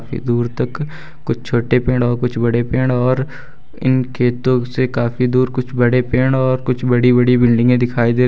ये दूर तक कुछ छोटे पेड़ और कुछ बड़े पेड़ और इनके से काफी दूर कुछ बड़े पेड़ और कुछ बड़ी बड़ी बिल्डिंगें दिखाई दे --